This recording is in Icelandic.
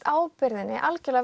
ábyrgðinni